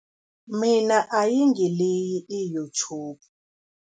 Mina ayingiliyi i-YouTube.